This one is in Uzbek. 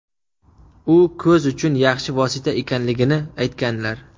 u ko‘z uchun yaxshi vosita ekanligini aytganlar.